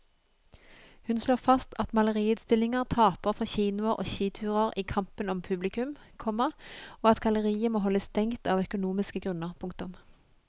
Hun slår fast at maleriutstillinger taper for kinoer og skiturer i kampen om publikum, komma og at galleriet må holde stengt av økonomiske grunner. punktum